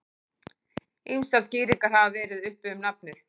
Ýmsar skýringar hafa verið uppi um nafnið.